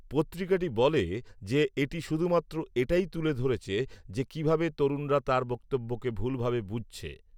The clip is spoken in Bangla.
পত্রিকাটি বলে যে, এটি শুধুমাত্র এটাই তুলে ধরেছে যে, কিভাবে তরুণরা তার বক্তব্যকে ভুলভাবে বুঝছে